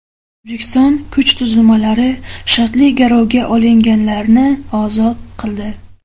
O‘zbekiston kuch tuzilmalari shartli garovga olinganlarni ozod qildi .